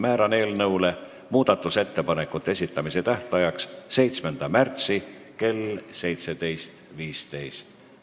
Määran eelnõu muudatusettepanekute esitamise tähtajaks 7. märtsi kell 17.15.